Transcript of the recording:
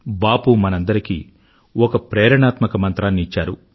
బాపు మనందరికీ ఒక ప్రేరణాత్మక మంత్రాన్ని ఇచ్చారు